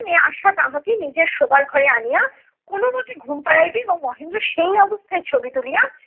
আশা তাহাকে নিজের শোবার ঘরে আনিয়া কোনোমতে ঘুম পাড়াইবে এবং মহেন্দ্র সেই অবস্থায় ছবি তুলিয়া